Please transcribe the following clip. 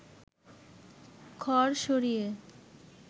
খড় সরিয়ে